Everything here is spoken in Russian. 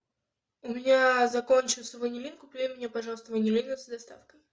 у меня закончился ванилин купи мне пожалуйста ванилина с доставкой